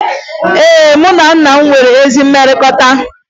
Ee, mụ na nna m nwere ezi mmekọrịta